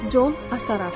Con Asaraf.